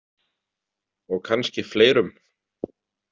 Og kannski fleirum.